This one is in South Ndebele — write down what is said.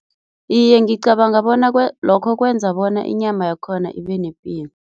Iye, ngicabanga bona lokho kwenza bona inyama yakhona ibe nepilo.